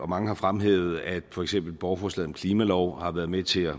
mange har fremhævet at for eksempel borgerforslaget klimalov har været med til at